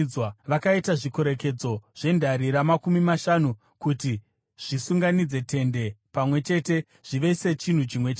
Vakaita zvikorekedzo zvendarira makumi mashanu kuti zvisunganidze tende pamwe chete zvive sechinhu chimwe chete.